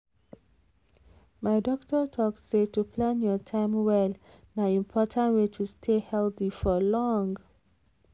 my doctor talk say to plan your time well na important way to stay healthy for long.